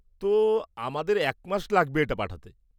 তো, আমাদের এক মাস লাগবে এটা পাঠাতে।